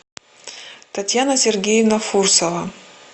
татьяна сергеевна фурсова